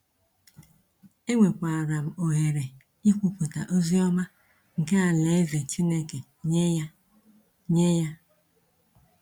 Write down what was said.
Enwekwara m ohere ikwupụta ozi ọma nke Alaeze Chineke nye ya. nye ya.